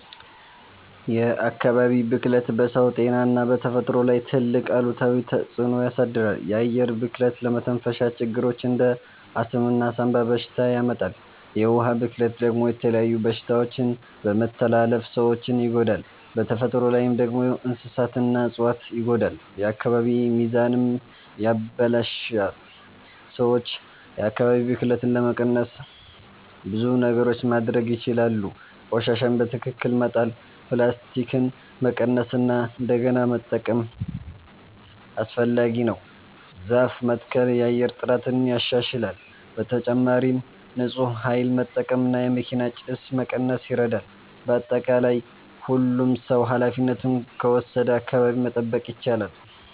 የአካባቢ ብክለት በሰው ጤና እና በተፈጥሮ ላይ ትልቅ አሉታዊ ተፅዕኖ ያሳድራል። የአየር ብክለት ለመተንፈሻ ችግሮች እንደ አስም እና ሳንባ በሽታ ያመጣል። የውሃ ብክለት ደግሞ የተለያዩ በሽታዎችን በመተላለፍ ሰዎችን ይጎዳል። በተፈጥሮ ላይ ደግሞ እንስሳትና እፅዋት ይጎዳሉ፣ የአካባቢ ሚዛንም ይበላሽታል። ሰዎች የአካባቢ ብክለትን ለመቀነስ ብዙ ነገሮች ማድረግ ይችላሉ። ቆሻሻን በትክክል መጣል፣ ፕላስቲክን መቀነስ እና እንደገና መጠቀም (recycle) አስፈላጊ ነው። ዛፍ መትከል የአየር ጥራትን ያሻሽላል። በተጨማሪም ንፁህ ኃይል መጠቀም እና የመኪና ጭስ መቀነስ ይረዳል። በአጠቃላይ ሁሉም ሰው ኃላፊነቱን ከወሰደ አካባቢን መጠበቅ ይቻላል።